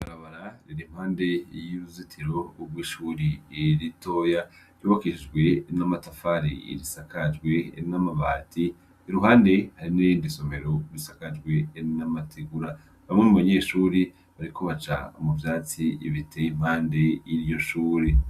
Ibarabara riri impande y'uruzitiro gw'ishuri ritoya ryubakishijwe n'amatafari risakajwe n'amabati iruhande hari n'irindi somero risakajwe n'amategura bamwe mu banyeshuri bariko baca mu vyatsi biteye impande y'iryoshure.